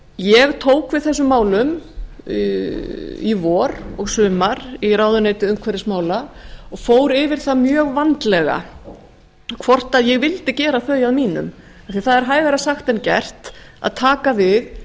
ég tók við þessum málum í vor og sumar í ráðuneyti umhverfismála og fór yfir það mjög vandlega hvort ég vildi gera þau að mínum af því að það er hægara sagt en gert að taka við